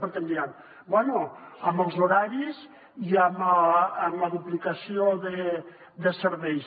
perquè em diran bé en els horaris i en la duplicació de serveis